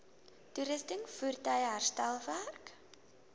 toerusting voertuie herstelwerk